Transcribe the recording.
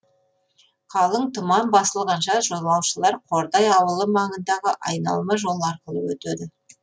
қалың тұман басылғанша жолаушылар қордай ауылы маңындағы айналма жол арқылы өтеді